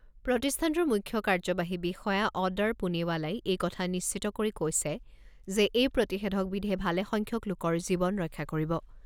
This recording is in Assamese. প্ৰতিষ্ঠানটোৰ মুখ্য কাৰ্যবাহী বিষয়া অডাৰ পুনেৱালাই এই কথা নিশ্চিত কৰি কৈছে যে এই প্ৰতিষেধক বিধে ভালে সংখ্যক লোকৰ জীৱন ৰক্ষা কৰিব।